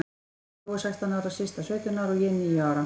Brói sextán ára, Systa sautján ára og ég nítján ára.